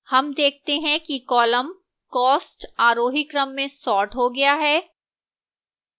हम देखते हैं कि column cost आरोही क्रम में सॉर्ट हो गया है